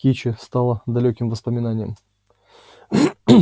кичи стала далёким воспоминанием